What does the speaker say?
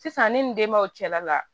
Sisan ni denbaw cɛla la